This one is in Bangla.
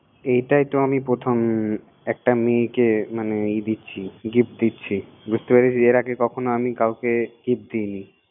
এইটাইতো আমি প্রথম একটা মেয়েকে মানে Gift দিচ্ছিএর আগে আমি কখন কাউকে gift দিচ্ছি